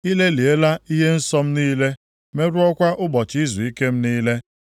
I lelịala ihe nsọ m niile, merụọkwa ụbọchị izuike m niile.